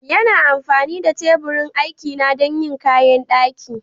Yana amfani da teburin aikina don yin kayan daƙin.